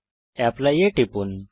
apply এ টিপুন